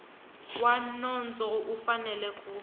wa nondzo u fanele ku